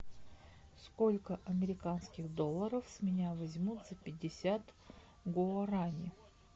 сколько американских долларов с меня возьмут за пятьдесят гуарани